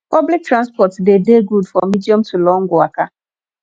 public transport de dey good for medium to long waka